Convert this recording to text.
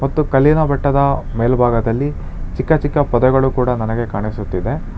ಮತ್ತು ಕಲ್ಲಿನ ಬೆಟ್ಟದ ಮೇಲ್ಭಾಗದಲ್ಲಿ ಚಿಕ್ಕ ಚಿಕ್ಕ ಪೊದೆಗಳು ಕೂಡ ನನಗೆ ಕಾಣಿಸುತ್ತಿದೆ.